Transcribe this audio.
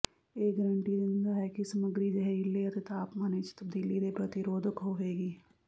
ਇਹ ਗਾਰੰਟੀ ਦਿੰਦਾ ਹੈ ਕਿ ਸਮੱਗਰੀ ਜ਼ਹਿਰੀਲੇ ਅਤੇ ਤਾਪਮਾਨ ਵਿਚ ਤਬਦੀਲੀ ਦੇ ਪ੍ਰਤੀ ਰੋਧਕ ਹੋਵੇਗੀ